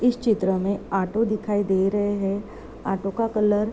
इस चित्र में ऑटो देखाई दे रहे हैं। ऑटो का कलर --